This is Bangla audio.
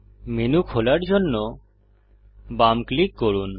মেনু খোলার জন্য বাম ক্লিক করুন